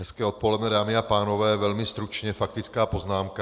Hezké odpoledne, dámy a pánové, velmi stručně faktická poznámka.